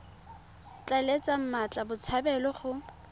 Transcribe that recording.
tla letla mmatla botshabelo go